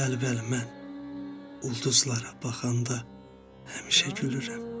Bəli, bəli, mən ulduzlara baxanda həmişə gülürəm.